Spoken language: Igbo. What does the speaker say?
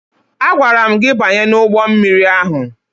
Agwara m gị banye n'ụgbọ mmiri ahụ!